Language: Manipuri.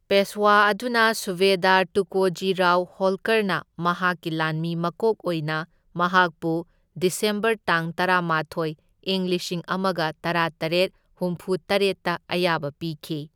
ꯄꯦꯁꯋꯥ ꯑꯗꯨꯅ ꯁꯨꯚꯦꯗꯥꯔ ꯇꯨꯀꯣꯖꯤ ꯔꯥꯎ ꯍꯣꯜꯀꯔꯅ ꯃꯍꯥꯛꯀꯤ ꯂꯥꯟꯃꯤ ꯃꯀꯣꯛ ꯑꯣꯏꯅ ꯃꯍꯥꯛꯄꯨ ꯗꯤꯁꯦꯝꯕꯔ ꯇꯥꯡ ꯇꯔꯥꯃꯥꯊꯣꯢ, ꯢꯪ ꯂꯤꯁꯤꯡ ꯑꯃꯒ ꯇꯔꯥꯇꯔꯦꯠ ꯍꯨꯝꯐꯨ ꯇꯔꯦꯠꯇ ꯑꯌꯥꯕ ꯄꯤꯈꯤ꯫